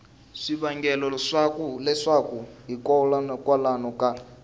swivangelo swa leswaku hikokwalaho ka